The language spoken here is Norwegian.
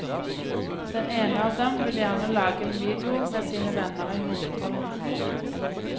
Den ene av dem vil gjerne lage en video med sine venner i hovedrollene.